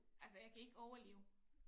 Altså jeg kan ikke overleve